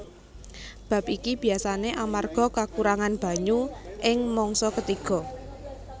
Bab iki biasané amarga kakurangan banyu ing mangsa ketiga